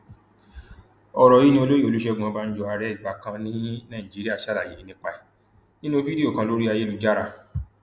ọrọ yìí ni olóyè olùṣègùn ọbànjọ ààrẹ ìgbà kan ní nàìjíríà ṣàlàyé nípa ẹ nínú fídíò kan lórí ayélujára